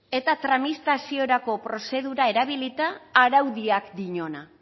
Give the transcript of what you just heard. eta tramitaziorako prozedura erabilita araudiak diona